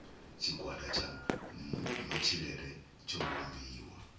tshigwada tsha matshilele tsho vhumbiwa